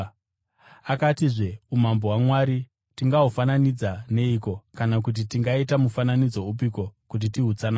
Akatizve, “Umambo hwaMwari tingahufananidza neiko kana kuti tingaita mufananidzo upiko kuti tihutsanangure?